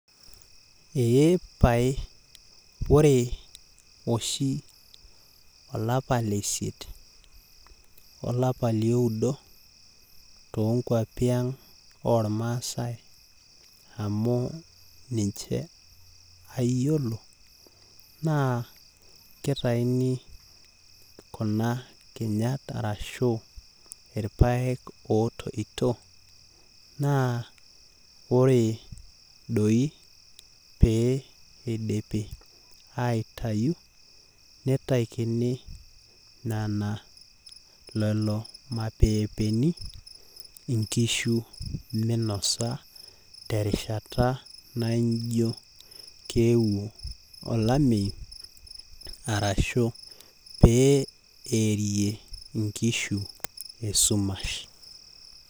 Eepae ore oshi lesiet olapa liodo olapa toonkwapi ormaasae naa kitayuni kuna kinyat ashu irpaek otoito naa ore doi pee idipi aitayu nitakini nena lolo mapepeni inkishu minosa terishata naijo keewuo olameyu ashu pearie inkishu esumash .